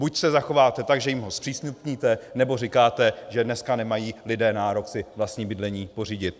Buď se zachováte tak, že jim ho zpřístupníte, nebo říkáte, že dneska nemají lidé nárok si vlastní bydlení pořídit.